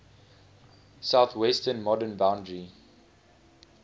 southwestern modern boundary